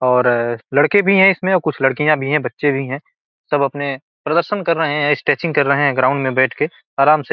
और लड़के भी हैं इसमें और कुछ लड़कियाँ भी हैं बच्चे भी हैं सब अपने प्रदर्शन कर रहे हैं स्ट्रेचिंग कर रहे हैं ग्राउंड में बैठ के आराम से।